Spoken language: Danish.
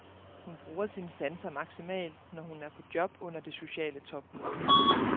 Hun bruger sine sanser maksimalt, når hun er på job under det sociale topmøde.